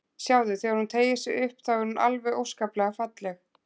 Sjáðu, þegar hún teygir sig upp, þá er hún alveg óskaplega falleg.